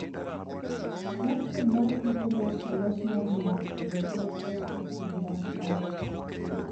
Platform mar e-commerce olos mar mondo okony teecho e kinda malach.